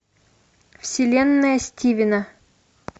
вселенная стивена